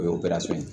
O ye ye